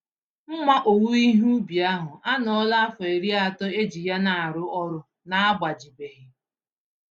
Mma owuwe ihe ubi ahụ anọọla afọ iri atọ eji ya narụ ọrụ na-agbajibeghị.